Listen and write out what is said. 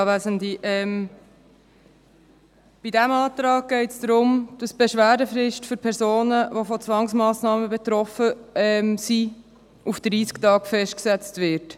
Bei diesem Antrag geht es darum, dass die Beschwerdefrist für Personen, die von Zwangsmassnahmen betroffen sind, auf 30 Tage festgesetzt wird.